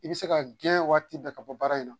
I bi se ka gɛn waati bɛɛ ka bɔ baara in na.